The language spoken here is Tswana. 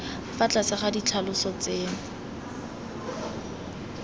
fa tlase ga ditlhaloso tseno